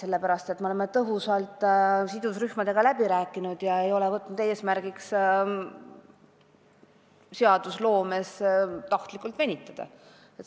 Sellepärast, et me oleme selle tõhusalt sidusrühmadega läbi rääkinud ega ole võtnud eesmärgiks seadusloomega tahtlikult venitada.